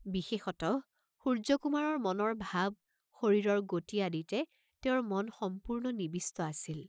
বিশেষতঃ সূৰ্য্যকুমাৰৰ মনৰ ভাব, শৰীৰৰ গতি আদিতে তেওঁৰ মন সম্পূৰ্ণ নিবিষ্ট আছিল।